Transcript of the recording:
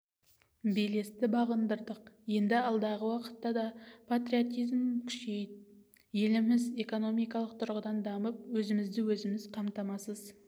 белесті бағындырдық енді алдағы уақытта да патриотизм күшейіп еліміз экономикалық тұрғыдан дамып өзімізді өзіміз қамтамасыз